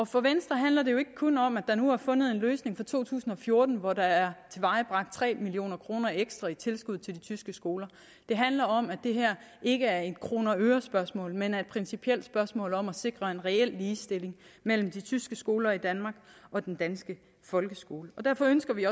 for venstre handler det jo ikke kun om at der nu er fundet en løsning for to tusind og fjorten hvor der er tilvejebragt tre million kroner ekstra i tilskud til de tyske skoler det handler om at det her ikke er et kroner og øre spørgsmål men et principielt spørgsmål om at sikre en reel ligestilling mellem de tyske skoler i danmark og den danske folkeskole derfor ønsker vi